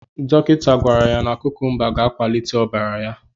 Dọkịta gwara ya na kukumba ga-ewulite ọbara ya.